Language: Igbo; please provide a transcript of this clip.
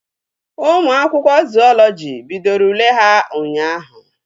Ụmụ akwụkwọ zuọlọji bidoro ule ha ụnyaahụ